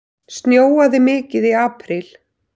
Snjóaði mikið í apríl?